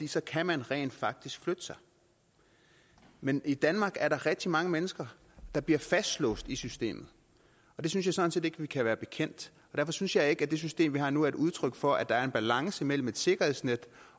så kan man rent faktisk flytte sig men i danmark er der rigtig mange mennesker der bliver fastlåst i systemet og det synes jeg sådan set ikke vi kan være bekendt derfor synes jeg ikke at det system vi har nu er et udtryk for at der er en balance mellem et sikkerhedsnet